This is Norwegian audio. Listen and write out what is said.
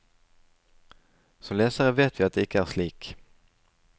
Som lesere vet vi at det ikke er slik.